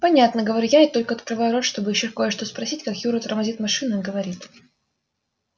понятно говорю я и только открываю рот чтобы ещё кое-что спросить как юра тормозит машину и говорит